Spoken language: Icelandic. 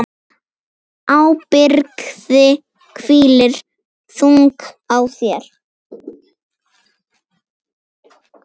Ábyrgð hvílir þung á þér.